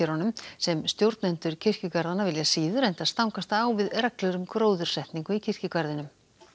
sem stjórnendur kirkjugarðanna vilja síður enda stangast það á við reglur um gróðursetningu í kirkjugarðinum